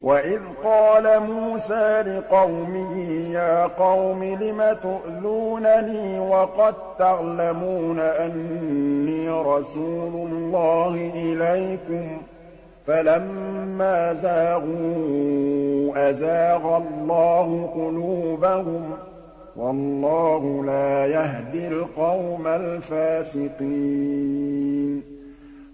وَإِذْ قَالَ مُوسَىٰ لِقَوْمِهِ يَا قَوْمِ لِمَ تُؤْذُونَنِي وَقَد تَّعْلَمُونَ أَنِّي رَسُولُ اللَّهِ إِلَيْكُمْ ۖ فَلَمَّا زَاغُوا أَزَاغَ اللَّهُ قُلُوبَهُمْ ۚ وَاللَّهُ لَا يَهْدِي الْقَوْمَ الْفَاسِقِينَ